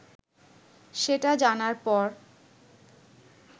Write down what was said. সেটা জানার পর